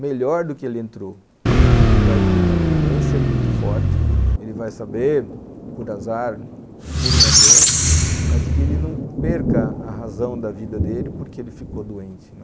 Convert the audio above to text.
melhor do que ele entrou, porque ele vai ter uma vivência muito forte, ele vai saber, por azar, por uma doença, mas que ele não perca a razão da vida dele porque ele ficou doente.